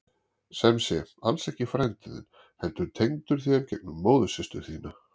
Sem sé, alls ekki frændi þinn heldur tengdur þér gegnum móðursystur þína.